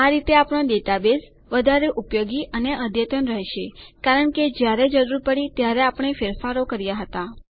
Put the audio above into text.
આ રીતે આપણો ડેટાબેઝ વધારે ઉપયોગી અને અદ્યતન રહેશે કારણ કે જ્યારે જરૂર પડી ત્યારે આપણે ફેરફારો કર્યા હતા